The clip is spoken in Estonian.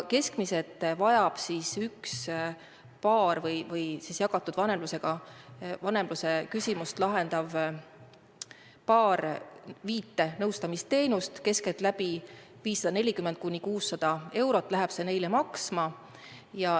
Keskmiselt vajab üks jagatud vanemluse küsimust lahendav paar viit nõustamisteenust, 540–600 eurot läheb see neile maksma.